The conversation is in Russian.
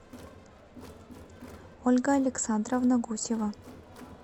ольга александровна гусева